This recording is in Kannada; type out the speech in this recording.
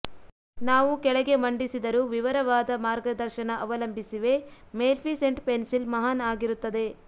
ನಾವು ಕೆಳಗೆ ಮಂಡಿಸಿದರು ವಿವರವಾದ ಮಾರ್ಗದರ್ಶನ ಅವಲಂಬಿಸಿವೆ ಮೇಲ್ಫಿಸೆಂಟ್ ಪೆನ್ಸಿಲ್ ಮಹಾನ್ ಆಗಿರುತ್ತದೆ